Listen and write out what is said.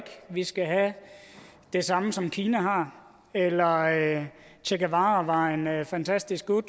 vi skal have det samme som kina har eller at che guevara vejen er fantastic good